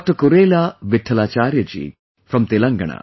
Kurela Vithalacharya ji from Telangana